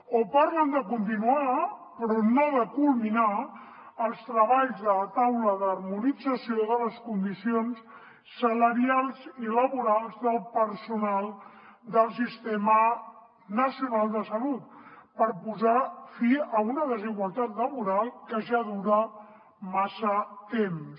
o parlen de continuar però no de culminar els treballs de la taula d’harmonització de les condicions salarials i laborals del personal del sistema nacional de salut per posar fi a una desigualtat laboral que ja dura massa temps